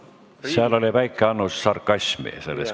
Selles küsimuses oli väike annus sarkasmi.